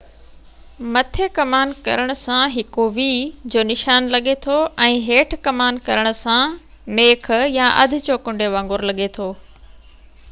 هڪ مٿي ڪمان ڪرڻ سان v جو نشان لڳي ٿو ۽ هيٺ ڪمان ڪرڻ سان ميک يا اڌ چوڪنڊي وانگر لڳي ٿو